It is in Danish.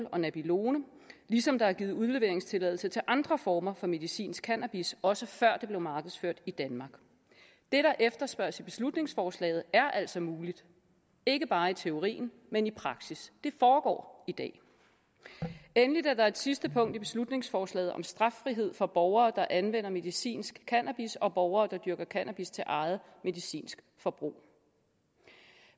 og nabilone ligesom der er givet udleveringstilladelser til andre former for medicinsk cannabis også før det blev markedsført i danmark det der efterspørges i beslutningsforslaget er altså muligt ikke bare i teorien men i praksis det foregår i dag endelig er der et sidste punkt i beslutningsforslaget om straffrihed for borgere der anvender medicinsk cannabis og borgere der dyrker cannabis til eget medicinsk forbrug